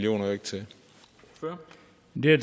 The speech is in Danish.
rigtig